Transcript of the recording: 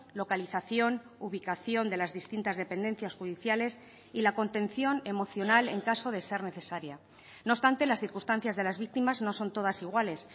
localización ubicación de las distintas dependencias judiciales y la contención emocional en caso de ser necesaria no obstante las circunstancias de las víctimas no son todas iguales